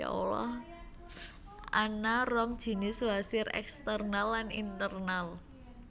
Ana rong jinis wasir eksternal lan internal